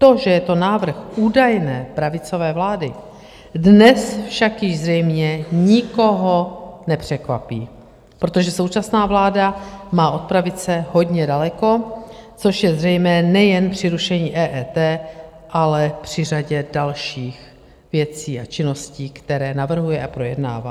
To, že je to návrh údajné pravicové vlády, dnes však již zřejmě nikoho nepřekvapí, protože současná vláda má od pravice hodně daleko, což je zřejmé nejen při rušení EET, ale při řadě dalších věcí a činností, které navrhuje a projednává.